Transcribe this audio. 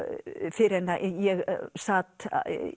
fyrr en að ég sat